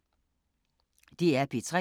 DR P3